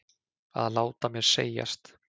Að láta mér segjast?